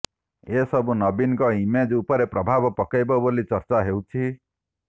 ଏସବୁ ନବୀନଙ୍କ ଇମେଜ୍ ଉପରେ ପ୍ରଭାବ ପକାଇବ ବୋଲି ଚର୍ଚ୍ଚା ହେଉଛି